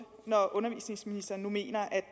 når undervisningsministeren nu mener at